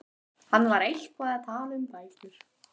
Hann var eitthvað að tala um bækur.